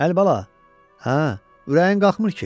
Əlibala, hə, ürəyin qalxmır ki.